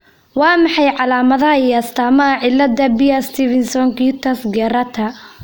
Waa maxay calaamadaha iyo astaamaha cilada Beare Stevenson cutis gyrata?